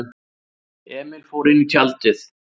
Emil fór inní tjaldið.